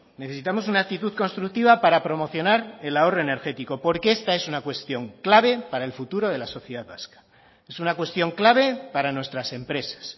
necesitamos una actitud constructiva para promocionar el ahorro energético porque esta es una cuestión clave para el futuro de la sociedad vasca es una cuestión clave para nuestras empresas